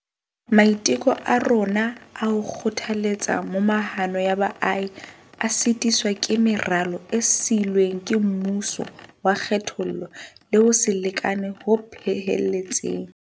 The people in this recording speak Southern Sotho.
Maiteko a rona a ho kgothaletsa momahano ya baahi a sitiswa ke meralo e siilweng ke mmuso wa kgethollo le ho se lekane ho phehelletseng.